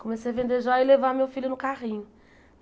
Comecei a vender jóia e levar meu filho no carrinho.